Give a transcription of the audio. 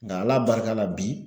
Nka Ala barika la bi